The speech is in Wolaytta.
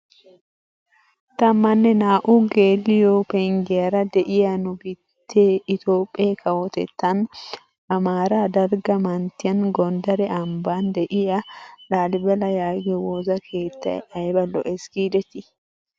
Tammanne naa"u geliyoo penggiyaara de'iyaa nu biittee itoophphee kawotettaan amaaraa dalgga manttiyaan gondare ambbaan de'iyaa laalibela yaagiyo woosa keettay ayba lo"ees gidetii!